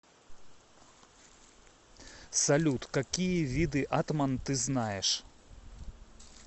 салют какие виды атман ты знаешь